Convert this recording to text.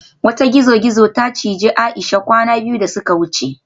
Wata gizo-gizo ta cije Aisha kwana biyu da suka wuce